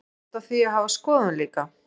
Á ég rétt á því að hafa skoðun líka?